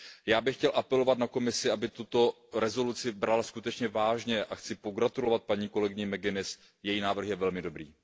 Já bych chtěl apelovat na Komisi, aby tuto rezoluci brala skutečně vážně, a chci pogratulovat kolegyni McGuinnessové, její návrh je velmi dobrý.